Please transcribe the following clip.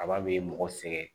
Kaba be mɔgɔ sɛgɛn